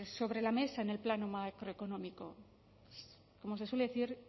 sobre la mesa en el plano macroeconómico como se suele decir